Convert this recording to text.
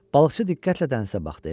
Balıqçı diqqətlə dənizə baxdı.